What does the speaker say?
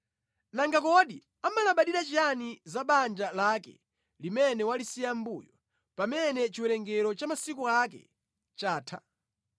Nanga kodi amalabadira chiyani zabanja lake limene walisiya mʼmbuyo, pamene chiwerengero cha masiku ake chatha?